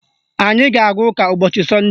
Anyị ga-aga ụka ụbọchị sọnde